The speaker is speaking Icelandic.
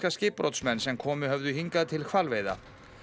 skipbrotsmenn sem komið höfðu hingað til hvalveiða